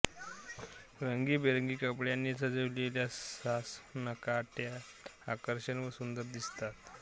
रंगीबेरंगी कपड्यांनी सजविलेल्या सासनकाठ्या आकर्षक व सुंदर दिसतात